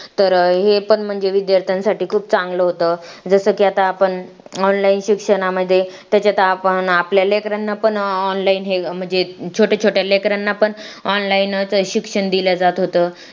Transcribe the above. तर हे पण म्हणजे विद्यार्थ्यांसाठी खूप चांगलं होतं जसं की आता आपण online शिक्षणामध्ये त्याच्यात आपण आपल्या लेकरांना पण online न हे म्हणजे छोट्या छोट्या लेकरांना पण online च शिक्षण दिल्या जात होतं